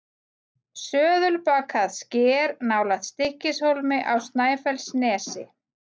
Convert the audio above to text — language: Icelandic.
Söðulbakað sker nálægt Stykkishólmi á Snæfellsnesi.